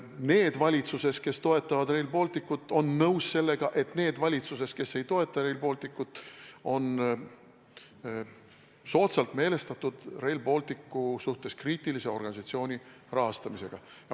Need valitsuses, kes toetavad Rail Balticut, on nõus sellega, et need valitsuses, kes ei toeta Rail Balticut, on soodsalt meelestatud Rail Balticu suhtes kriitilise organisatsiooni rahastamisega.